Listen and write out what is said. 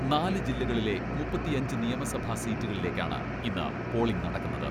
നാല് ജില്ലകളിലെ മുപ്പത്തിയഞ്ച് നിയമസഭാ സീറ്റുകളിലേക്കാണ് ഇന്ന് പോളിംഗ് നടക്കുന്നത്.